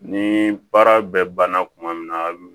Ni baara bɛ banna kuma min na